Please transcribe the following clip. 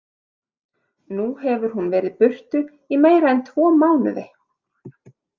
Nú hefur hún verið burtu í meira en tvo mánuði.